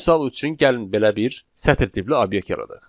Misal üçün, gəlin belə bir sətr tipli obyekt yaradaq.